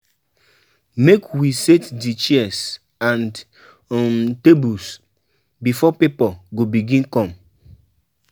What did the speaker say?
Make we set di chairs and um tables, before pipo go begin come.